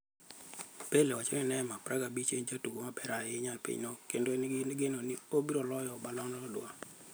Pele owacho ni Neymar, 25, en e jatugo maber ahinya e pinyno kendo en gi geno ni obiro loyo Ballon d'Or.